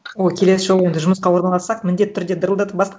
о келесі жолы онда жұмысқа орналассақ міндетті түрде дырылдатып бастық